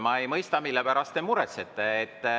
Ma ei mõista, mille pärast te muretsete.